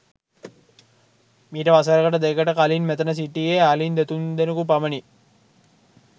මීට වසරකට දෙකකට කලින් මෙතන සිටියේ අලින් දෙතුන් දෙනකු පමණි.